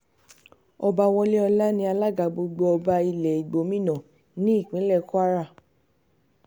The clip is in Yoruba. ọba wọléọlá ní alága gbogbo ọba ilẹ̀ igbómìnà nípínlẹ̀ kwara